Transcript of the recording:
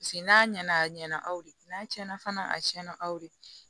Paseke n'a ɲɛna a ɲɛna aw de n'a cɛnna fana a tiɲɛna aw de